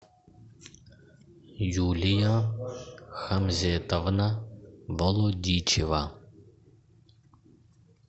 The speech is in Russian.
юлия хамзетовна балудичева